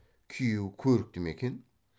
күйеу көрікті ме екен